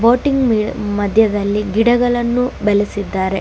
Boating ಮದ್ಯದಲ್ಲಿ ಗಿಡಗಳನ್ನು ಬೆಳೆಸಿದ್ದಾರೆ.